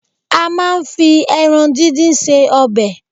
A máa ń fi ẹran dídín ṣe ọbẹ̀.